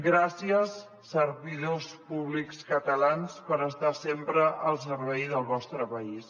gràcies servidors públics catalans per estar sempre al servei del vostre país